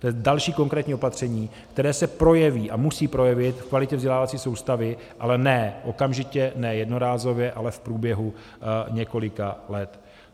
To je další konkrétní opatření, které se projeví a musí projevit v kvalitě vzdělávací soustavy, ale ne okamžitě, ne jednorázově, ale v průběhu několika let.